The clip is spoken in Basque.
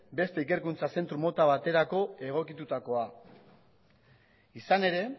beste ikerkuntza zentro mota baterako egokitutakoa izan ere